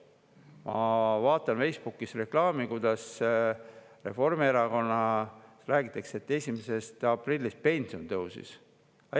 Ma vaatan Facebookis reklaami: Reformierakonnas räägitakse, et 1. aprillist pension tõusis.